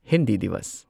Hindi ꯗꯤꯋꯁ